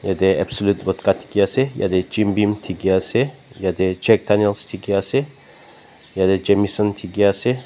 etey absolute vodka dikey ase etey jim bean dikey ase etey jack daniels dikey ase etey jameson dikey ase.